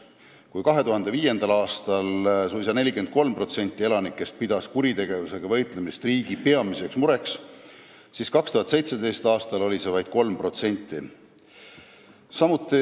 Kui 2005. aastal pidas suisa 43% elanikest kuritegevusega võitlemist riigi peamiseks mureks, siis 2017. aastal oli neid inimesi vaid 3%.